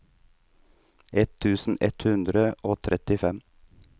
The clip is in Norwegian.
ett tusen ett hundre og trettifem